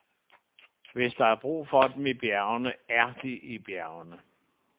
Hvis der er brug for dem i bjergene, er de i bjergene.